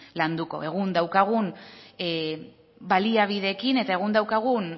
landuko egun daukagun baliabideekin eta egun daukagun